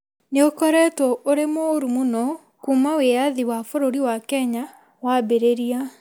nĩ ũkoretwo ũrĩ mũũru mũno kuuma wĩyathi wa bũrũri wa Kenya wambĩrĩria.